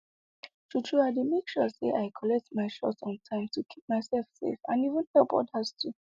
true true i dey make sure say i collect my shot on time to keep myself safe and even help others too